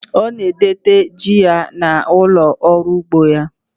Ọ na-edote ji ya n'ụlọ ọrụ ugbo ya.